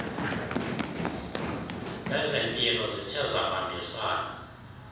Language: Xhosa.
zezempilo zithe zabambisana